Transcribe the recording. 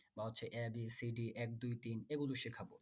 বা হচ্ছে ABCD এক দুই তিন এগুলো শিখাবো